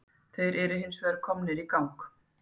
Þeir eru hins vegar komnir í gang